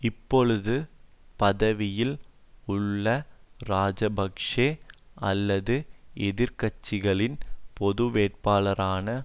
இப்பொழுது பதவியில் உள்ள இராஜபக்ஷ அல்லது எதிர் கட்சிகளின் பொது வேட்பாளரான